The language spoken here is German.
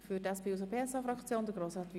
Ich möchte noch Folgendes ergänzen: